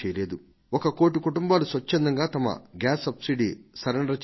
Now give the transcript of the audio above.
ఒక కోటి కుటుంబాలు స్వచ్ఛందంగా తమ గ్యాస్ సబ్సిడీని సరెండర్ చేశాయి